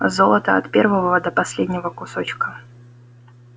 а золото от первого до последнего кусочка